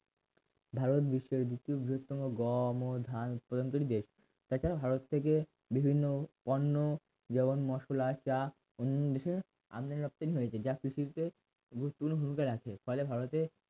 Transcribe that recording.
ভারত বিশ্বের দ্বিতীয় বৃহত্তম গম ও ধান উৎপাদনকারী দেশ এককালে ভারত থেকে বিভিন্ন পণ্য যেমন মসলা চা অন্যান্য বিষয়ে আমদানি রপ্তানি হয়েছে যা কৃষি ক্ষেত্রে গুরুত্বপূর্ণ ভূমিকা রাখে ফলে ভারতের